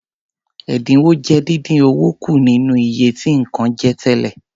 Ẹdinwo jẹ́ dindin owó kù nínú iye tí nǹkan je tẹ́lẹ̀.